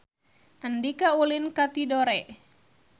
Andika ulin ka Tidore